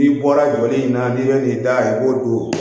N'i bɔra jɔli in na n'i bɛ n'i da i b'o don